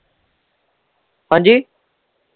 ਹਾਂਜੀ।